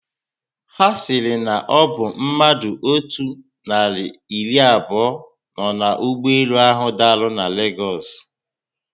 Ha siri na obu mmadụ otú nari iri abuo no na ụgbọelu ahu dara na Lagosu.